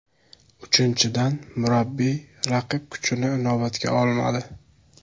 Uchinchidan, murabbiy raqib kuchini inobatga olmadi.